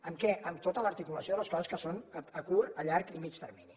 en què en tota l’articulació de les coses que són a curt a llarg i a mitjà termini